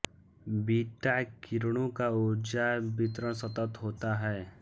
beta किरणों का उर्जा वितरण सतत होता है